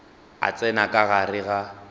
a tsena ka gare ga